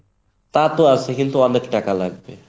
তা তো আছেই, কিন্তু আমনের তো টাকা লাগবে।